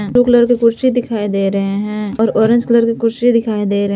blue colour के कुर्सी दिखाई दे रहे हैं और ऑरेंज कलर के कुर्सी दिखाई दे रहे--